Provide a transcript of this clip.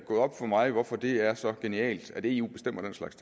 op for mig hvorfor det er så genialt at eu bestemmer den slags